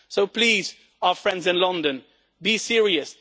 So please, our friends in London, be serious.